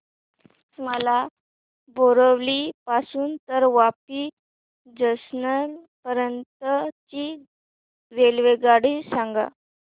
मला बोरिवली पासून तर वापी जंक्शन पर्यंत ची रेल्वेगाडी सांगा